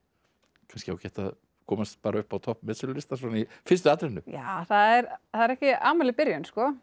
kannski ágætt að komast bara upp á topp metsölulistans svona í fyrstu atrennu það er ekki amaleg byrjun